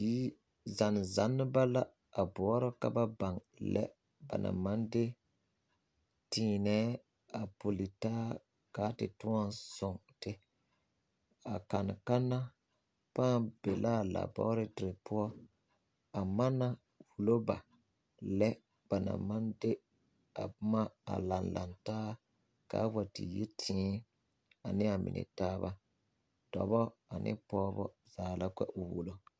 Zanne zanneba la boɔrɔ ka baŋ lɛ ba naŋ maŋ de teemɛɛ a pili taa ka a te toɔ soŋ te a kanne kanna pãã be la a laaborete poɔ a manna wulo ba lɛ banaŋ maŋ de a,boma Ali laŋ taa km a wa te yi tee ane amine taabadɔbɔ and pɔgeba zaa ka o wulo.